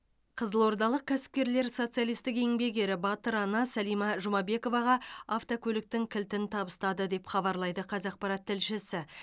қызылордалық кәсіпкерлер социалистік еңбек ері батыр ана сәлима жұмабековаға автокөліктің кілтін табыстады деп хабарлайды қазақпарат тілшісі